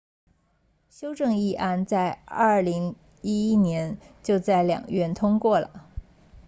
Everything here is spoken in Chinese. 修正议案在2011年就在两院通过了